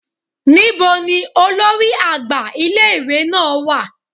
níbo ní olórí àgbà ìlé-ìwé náá wà?